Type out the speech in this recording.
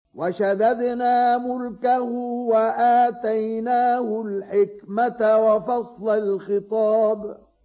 وَشَدَدْنَا مُلْكَهُ وَآتَيْنَاهُ الْحِكْمَةَ وَفَصْلَ الْخِطَابِ